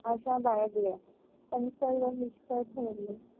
आशा बाळगल्या पण सर्व निष्फळ ठरले.